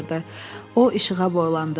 O işığa boylandı.